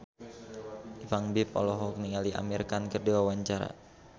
Ipank BIP olohok ningali Amir Khan keur diwawancara